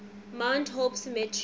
mount hope cemetery